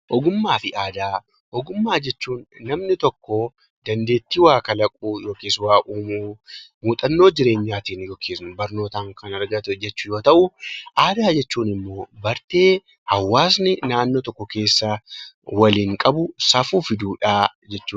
Ogummaa fi aadaa Ogummaa jechuun namni tokko dandeettii waa kalaquu yookiis waa uumuu, muuxannoo jireenyaatiin yookiis barnootaan kan argate jechuu yoo ta'u; Aadaa jechuun immoo bartee hawaasni naannoo tokko keessaa waliin qabu, safuu fi duudhaa jechuu dha.